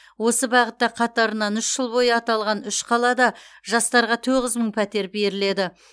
осы бағытта қатарынан үш жыл бойы аталған үш қалада жастарға тоғыз мың пәтер беріледі